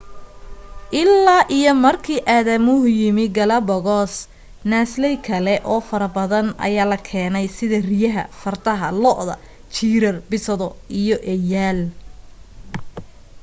illaa iyo markii aadamuhu yimi galapagos naasley kale oo fara badan ayaa la keenay sida riyaha fardaha lo'da jiirar bisado iyo eeyaal